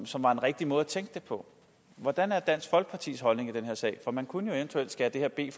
som var en rigtig måde at tænke det på hvordan er dansk folkepartis holdning i den her sag for man kunne jo eventuelt skære det her i